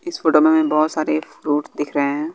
इस फोटो में बहोत सारे फ्रूट दिख रहे हैं।